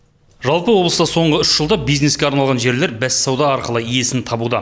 жалпы облыста соңғы үш жылда бизнеске арналған жерлер бәссауда арқылы иесін табуда